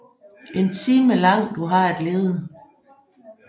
En time lang du har at lede